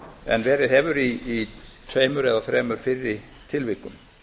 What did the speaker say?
en verið hefur í tveimur eða þremur fyrri tilvikum